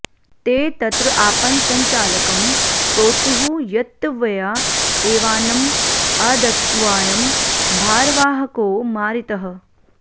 ते तत्र आपणसञ्चालकं प्रोचुः यत्त्वया एवान्नम् अदत्त्वायं भारवाहको मारितः